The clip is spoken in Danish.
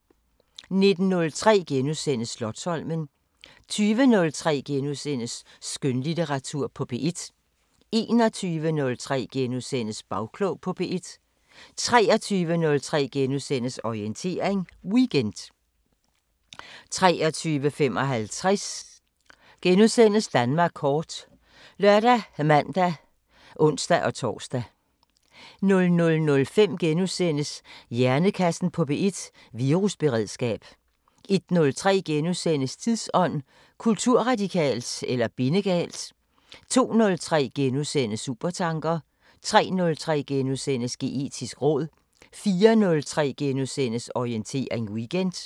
19:03: Slotsholmen * 20:03: Skønlitteratur på P1 * 21:03: Bagklog på P1 * 23:03: Orientering Weekend * 23:55: Danmark kort *( lør, man, ons-tor) 00:05: Hjernekassen på P1: Virusberedskab * 01:03: Tidsånd: Kulturradikalt eller bindegalt? * 02:03: Supertanker * 03:03: Geetisk råd * 04:03: Orientering Weekend *